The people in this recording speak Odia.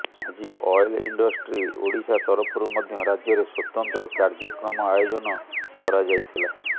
ଆଜି ଅଏଲ୍ ଇଣ୍ଡଷ୍ଟ୍ରି ଓଡ଼ିଶା ତରଫରୁ ମଧ୍ୟ ରାଜ୍ୟରେ ସ୍ବତନ୍ତ୍ର କାର୍ଯ୍ୟକ୍ରମ ଆୟୋଜନ କରାଯାଇଥିଲା